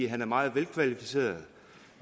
han er meget velkvalificeret